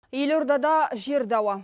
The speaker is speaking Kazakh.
елордада жер дауы